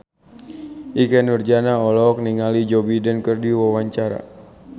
Ikke Nurjanah olohok ningali Joe Biden keur diwawancara